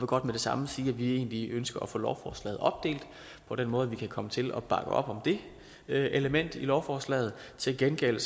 godt med det samme sige at vi egentlig ønsker at få lovforslaget opdelt på den måde at vi kan komme til at bakke op om det element i lovforslaget til gengæld